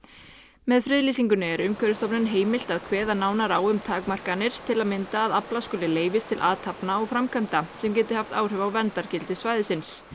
með friðlýsingunni er Umhverfisstofnun heimilt að kveða nánar á um takmarkanir til að mynda að afla skuli leyfis til athafna og framkvæmda sem geti haft áhrif á verndargildi svæðisins